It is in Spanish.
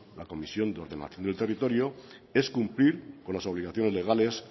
la comisión de ordenación del territorio es cumplir con las obligaciones legales